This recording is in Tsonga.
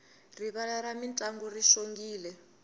rivala ra mintlangu ri xongile